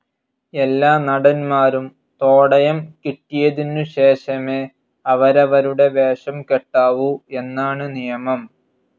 എല്ലാ നടന്മാരും തോടയം കിട്ടിയതിനു ശേഷമേ അവരവരുടെ വേഷം കെട്ടാവൂ എന്നാണ് നിയമം.